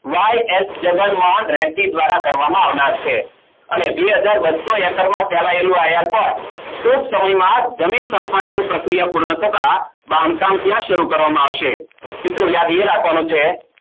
YS Jagannath દ્વારા કરવામાં આવ્યું છે અને બે હાજર બસો હકારમાં ફેલાયેલ આ airport જમીન સંપાદન પ્રક્રિયા પૂર્વક થતા બાંધકામ પણ શરુ કરવા માં આવશે મિત્રો યાદ એ રાખવાનું છે